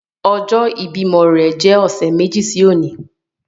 Ọjọ ibimọ rẹ jẹ ọsẹ meji si oni